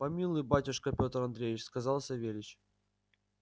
помилуй батюшка пётр андреич сказал савельич